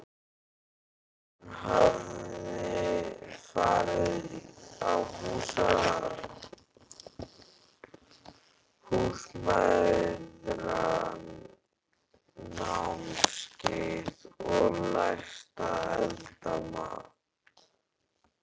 Hún hafði farið á Húsmæðranámskeið og lært að elda mat.